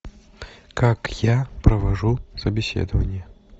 как я провожу собеседование